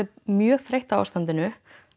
mjög þreytt á ástandinu